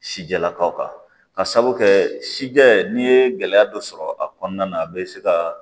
Sijɛlakaw ka sabu kɛ sijɛ n'i ye gɛlɛya dɔ sɔrɔ a kɔnɔna na a bɛ se ka